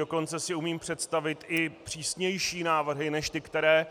Dokonce si umím představit i přísnější návrhy než ty, které